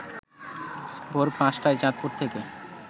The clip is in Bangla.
ভোর ৫ টায় চাঁদপুর থেকে